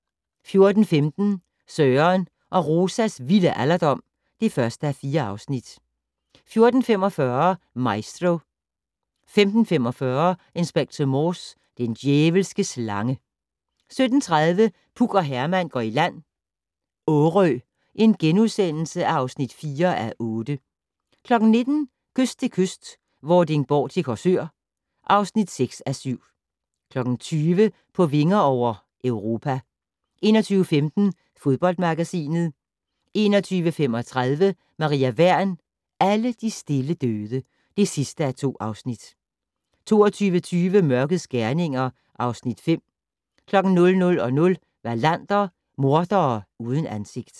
14:15: Søren og Rosas vilde alderdom (1:4) 14:45: Maestro 15:45: Inspector Morse: Den djævelske slange 17:30: Puk og Herman går i land - Årø (4:8)* 19:00: Kyst til kyst - Vordingborg til Korsør (6:7) 20:00: På vinger over - Europa 21:15: Fodboldmagasinet 21:35: Maria Wern: Alle de stille døde (2:2) 22:20: Mørkets gerninger (Afs. 5) 00:00: Wallander: Mordere uden ansigt